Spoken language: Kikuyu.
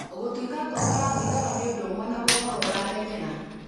Gũtuĩka ngombo ya thigara nĩ ũndũ ũmwe na gũkorũo ũramenyera.